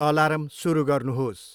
alarm सुरु गर्नुहोस्